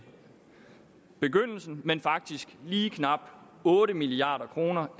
begyndelsen men faktisk lige knap otte milliard kroner